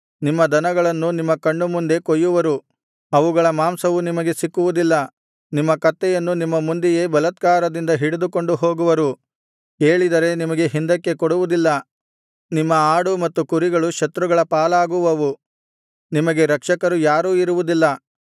ನಿಮ್ಮ ದನಗಳನ್ನು ನಿಮ್ಮ ಕಣ್ಣು ಮುಂದೆ ಕೊಯ್ಯುವರು ಅವುಗಳ ಮಾಂಸವು ನಿಮಗೆ ಸಿಕ್ಕುವುದಿಲ್ಲ ನಿಮ್ಮ ಕತ್ತೆಯನ್ನು ನಿಮ್ಮ ಮುಂದೆಯೇ ಬಲಾತ್ಕಾರದಿಂದ ಹಿಡಿದುಕೊಂಡುಹೋಗುವರು ಕೇಳಿದರೆ ನಿಮಗೆ ಹಿಂದಕ್ಕೆ ಕೊಡುವುದಿಲ್ಲ ನಿಮ್ಮ ಆಡು ಮತ್ತು ಕುರಿಗಳು ಶತ್ರುಗಳ ಪಾಲಾಗುವವು ನಿಮಗೆ ರಕ್ಷಕರು ಯಾರೂ ಇರುವುದಿಲ್ಲ